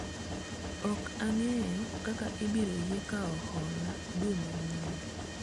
ok ang'eyo ka ibiro yie kawo hola dwe manyien